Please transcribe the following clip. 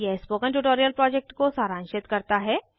यह spoken tutorial project को सारांशित करता है